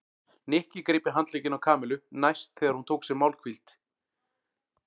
Nikki greip í handlegginn í Kamillu næst þegar hún tók sér málhvíld.